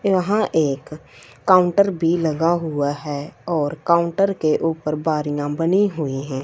यहां एक काउंटर भी लगा हुआ है और काउंटर के ऊपर बारियां बनी हुई हैं।